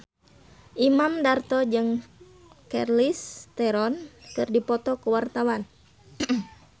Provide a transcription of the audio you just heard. Imam Darto jeung Charlize Theron keur dipoto ku wartawan